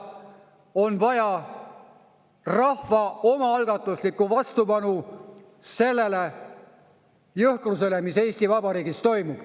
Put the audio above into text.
On vaja rahva omaalgatuslikku vastupanu sellele jõhkrusele, mis Eesti Vabariigis toimub.